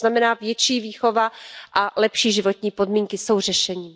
To znamená větší výchova a lepší životní podmínky jsou řešením.